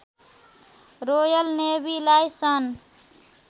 royal नेवीलाई सन्